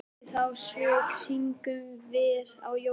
Og fyrir þá sök syngjum vér á jólum